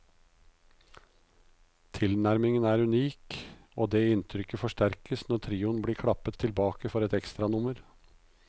Tilnærmingen er unik, og det inntrykket forsterkes når trioen blir klappet tilbake for ekstranummer.